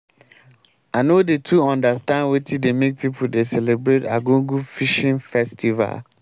i no dey too understand wetin make pipu dey celebrate arugungu fishing festival.